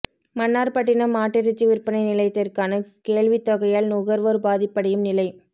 மன்னார் பட்டின மாட்டிறைச்சி விற்பனை நிலையத்திற்கான கேள்வித்தொகையால் நுகர்வோர் பாதீப்படையும் நிலை